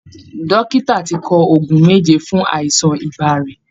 Dòkìtà ti kọ òògùn méjè fún àìsàn ibà rẹ̀